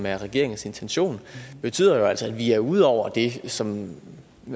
er regeringens intention betyder jo altså at vi er ude over det som